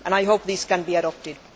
I hope these can be adopted.